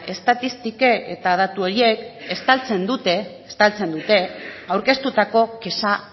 estatistikek eta datu horiek estaltzen dute aurkeztutako kexa